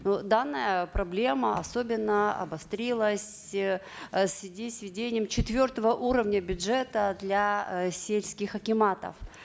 но данная проблема особенно обострилась э в связи с введением четвертого уровня бюджета для э сельских акиматов